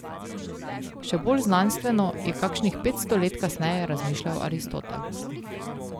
Še bolj znanstveno je kakšnih petsto let kasneje razmišljal Aristotel.